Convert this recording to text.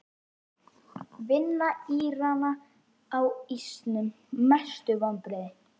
Vinna Írana á ísnum Mestu vonbrigði?